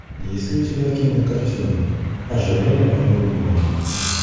есть ли у тебя кинокартина ожерелье моей любимой